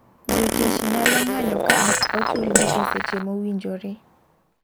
Jotich nyalo ng'anyo ka ok ochul gi e seche mowinjore.